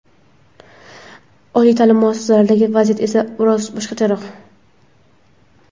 Oliy ta’lim muassasalaridagi vaziyat esa biroz boshqacharoq.